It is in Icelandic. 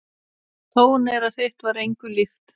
Tóneyra þitt var engu líkt.